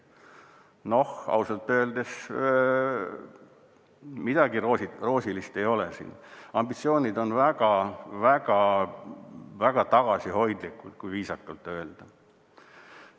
Noh, ausalt öeldes midagi roosilist ei ole, ambitsioonid on väga-väga tagasihoidlikud, kui viisakalt öelda.